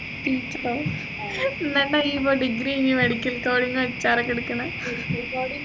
എന്നിട്ടാ നി പോയി degree കഴിഞ്ഞ് medical college ന്ന് HR ഒക്കെ എടുക്കുന്ന്